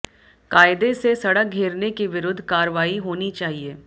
कायदे से सड़क घेरने के विरुद्ध कार्रवाई होनी चाहिए